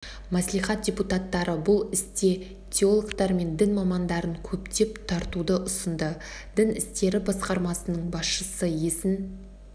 мәслихат депутаттары бұл істе теологтар мен дін мамандарын көптеп тартуды ұсынды дін істері басқармасының басшысы есін